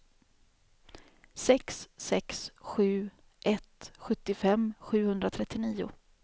sex sex sju ett sjuttiofem sjuhundratrettionio